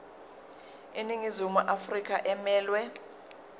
iningizimu afrika emelwe